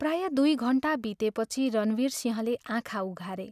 प्रायः दुइ घण्टा बितेपछि रणवीरसिंहले आँखा उघारे।